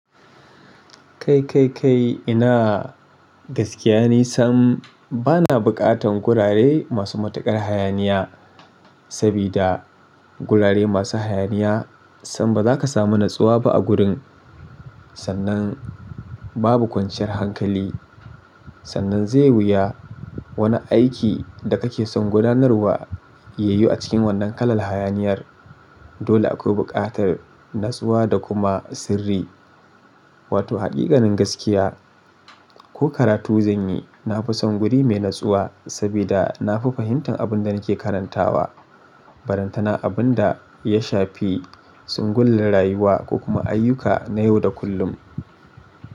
Kai, kai, kai ina gaskiya ne sam bana bukatan gurare masu matukar hayaniya, sabida gurare masu hayaniya sam baza ka samu natsuwa ba a gurin. Sannan babu kwanciyar hankali, sannan zai wuya wani aiki da kake son gudanarwa yayi a cikin wannan kalar hayaniyar. Dole akwai buƙatar natsuwa da kuma sirri, wato hakikanin gaskiya. Ko karatu zan yi, na fi son guri mai natsuwa sabida na fi fahimtar abin da nake karantawa. Ballantana abun da ya shafi single din rayuwa ko kuma ayyuka na yau da kullum.